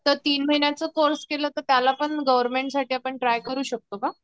तर तीन महिन्यांचा कोर्से केला तर त्याला पण आपण गवर्नमेंट साठी ट्राय करू शकतो का?